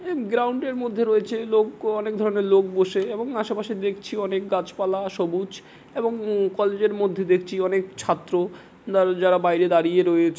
এ ground এর মধ্যে রয়েছে লোক ও অনেক ধরনের লোক বসে এবং আশেপাশে দেখছি অনেক গাছপালা সবুজ এবং কলেজ এর মধ্যে দেখছি অনেক ছাত্র জা যারা বাইরে দাঁড়িয়ে রয়েছে।